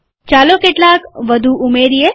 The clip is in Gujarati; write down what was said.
ચાલો કેટલાક વધુ ઉમેરીએ